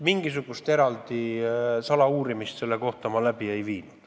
Mingisugust eraldi salauurimist toimunu kohta ma läbi ei viinud.